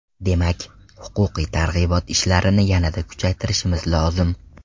Demak, huquqiy targ‘ibot ishlarini yanada kuchaytirishimiz lozim.